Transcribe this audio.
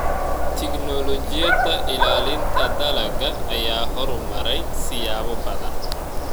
Tignoolajiyada ilaalinta dalagga ayaa horumaray siyaabo badan.